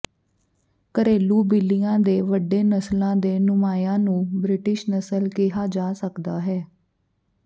ਘਰੇਲੂ ਬਿੱਲੀਆਂ ਦੇ ਵੱਡੇ ਨਸਲਾਂ ਦੇ ਨੁਮਾਇਆਂ ਨੂੰ ਬ੍ਰਿਟਿਸ਼ ਨਸਲ ਕਿਹਾ ਜਾ ਸਕਦਾ ਹੈ